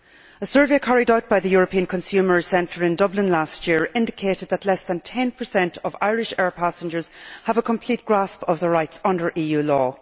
A survey carried out by the European Consumer Centre in Dublin last year indicated that less than ten percent of Irish air passengers have a complete grasp of their rights under EU law.